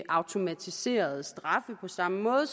automatiserede straffe på samme måde